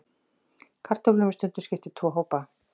Kartöflum er stundum skipt í tvo hópa.